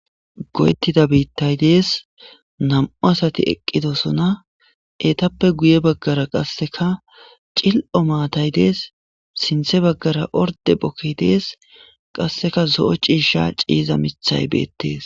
goyettida biittay dees nam7u asati eqqidosona etappe guye baggara qasseka cil7o maatay dees sinthe baggara orde bokki dees qasseka zo7o ciisha ciiza mithay beettees